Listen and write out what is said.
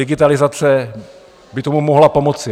Digitalizace by tomu mohla pomoci.